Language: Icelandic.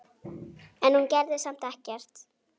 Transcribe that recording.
En hún gerði samt ekkert.